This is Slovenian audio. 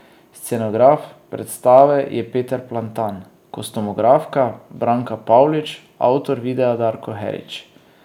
Scenograf predstave je Peter Plantan, kostumografka Branka Pavlič, avtor videa Darko Herič.